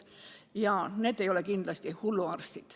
Ja need ei ole kindlasti hulluarstid.